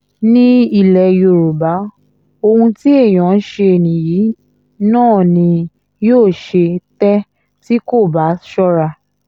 ní ilẹ̀ yorùbá ohun tí èèyàn ń ṣe nìyí náà ni yóò ṣe tẹ́ tí kò bá ṣọ́ra